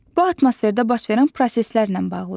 Bu atmosferdə baş verən proseslərlə bağlıdır.